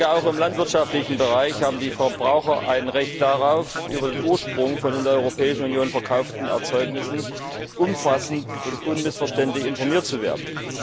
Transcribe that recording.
Auch im landwirtschaftlichen Bereich haben die Verbraucher ein Recht darauf, über den Ursprung von in der Europäischen Union verkauften Erzeugnissen umfassend und unmissverständlich informiert zu werden.